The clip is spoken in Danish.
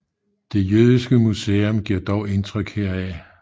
Det jødiske museum giver dog indtryk heraf